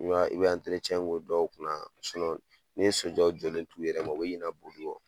I be k'o dɔw kunna . ni so dɔw jɔlen to u yɛrɛ ma, u bi ɲina koli kɔ.